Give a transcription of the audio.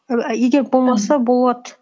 егер болмаса болады